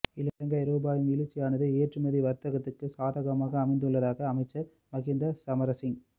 இலங்கை ரூபாவின் வீழ்ச்சியானது ஏற்றுமதி வர்த்தகத்துக்கு சாதகமாக அமைந்துள்ளதாக அமைச்சர் மஹிந்த சமரசிங்